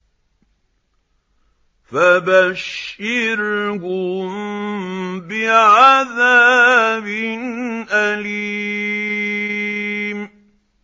فَبَشِّرْهُم بِعَذَابٍ أَلِيمٍ